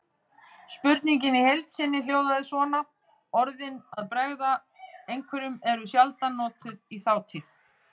Spurningin í heild sinni hljóðaði svona: Orðin að bregða einhverjum eru sjaldan notuð í þátíð.